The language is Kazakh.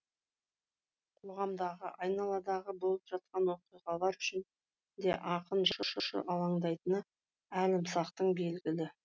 қоғамдағы айналадағы болып жатқан оқиғалар үшін де ақын жазушы алаңдайтыны әлімсақтан белгілі